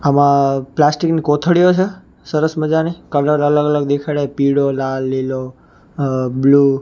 આમા પ્લાસ્ટિક ની કોથળીઓ છે સરસ મજાની કલર અલગ અલગ દેખાડાય પીળો લાલ લીલો અ બ્લુ .